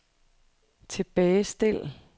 tilbagestil